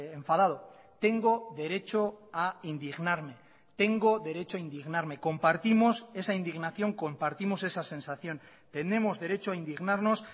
enfadado tengo derecho a indignarme tengo derecho a indignarme compartimos esa indignación compartimos esa sensación tenemos derecho a indignarnos